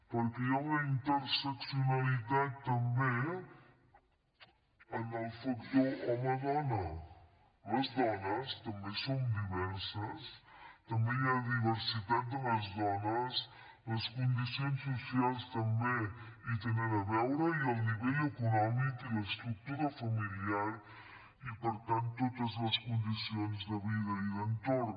perquè hi ha una interseccionalitat també en el factor home dona les dones també som diverses també hi ha diversitat de les dones les condicions socials també hi tenen a veure i el nivell econòmic i l’estructura familiar i per tant totes les condicions de vida i d’entorn